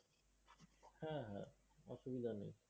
হ্যাঁ হ্যাঁ। অসুবিধা নেই।